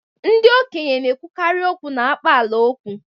ndị okenye na-ekwukarị okwu n'akpaalaokwu